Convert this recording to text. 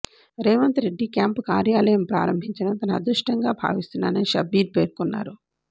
Revanth Reddy camp కార్యాలయం ప్రారంభించడం తన అదృష్టంగా భావిస్తున్నానని షబ్బీర్ పేర్కొన్నారు